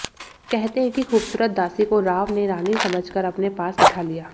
कहते हैं कि खूबसूरत दासी को राव ने रानी समझ कर अपने पास बैठा लिया